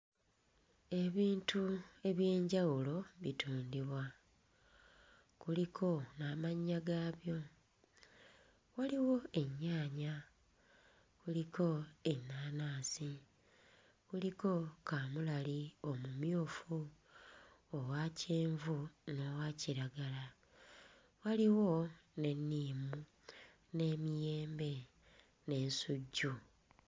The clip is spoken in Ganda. Ebintu eby'enjawulo bitundibwa, kuliko amannya gaabyo, waliwo ennyaanya kuliko ennaanansi, kuliko kaamulali omumyufu, owakyenvu n'owa kiragala waliwo n'enniimu, n'emiyembe n'ensujju.